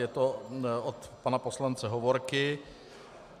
Je to od pana poslance Hovorky.